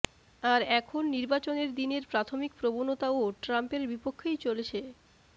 আর এখন নির্বাচনের দিনের প্রাথমিক প্রবণতাও ট্রাম্পের বিপক্ষেই চলেছে